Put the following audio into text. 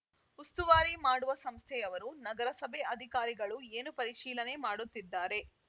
ಉಸ್ತುವಾರಿ ಮಾಡುವ ಸಂಸ್ಥೆಯವರು ನಗರಸಭೆ ಅಧಿಕಾರಿಗಳು ಏನು ಪರಿಶೀಲನೆ ಮಾಡುತ್ತಿದ್ದಾರೆ